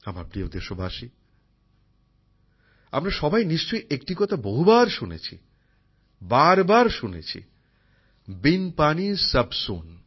আমার প্রিয় দেশবাসী আমরা সবাই নিশ্চয়ই একটি কথা বহুবার শুনেছি বারবার শুনেছি বিন পানি সব সুন